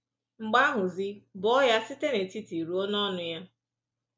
Mgbe ahụzi, bọọ ya site n’etiti ruo n’ọnụ ya.